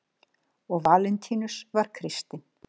og valentínus var kristinn